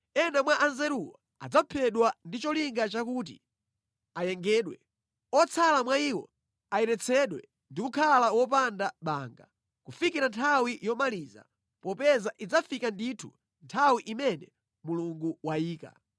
Ena mwa anzeruwo adzaphedwa ndi cholinga chakuti ayengedwe, otsala mwa iwo ayeretsedwe ndi kukhala wopanda banga kufikira nthawi yomaliza, popeza idzafika ndithu nthawi imene Mulungu wayika.